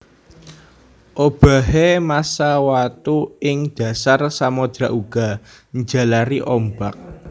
Obahé massa watu ing dhasar samodra uga njalari ombak